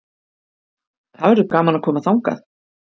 Það verður gaman að koma þangað.